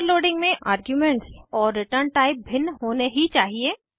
overloading में arguments और return type भिन्न होने ही चाहिए